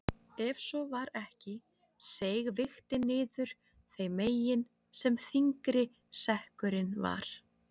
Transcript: Ef svo var ekki seig vigtin niður þeim megin sem þyngri sekkurinn var.